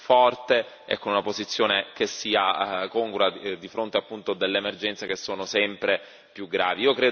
forte e con una posizione che sia congrua di fronte appunto ad emergenze che sono sempre più gravi.